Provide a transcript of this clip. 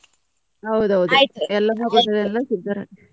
ಹೌದೌದು .